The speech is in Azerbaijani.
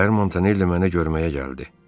Səhər Montanelli mənə görməyə gəldi.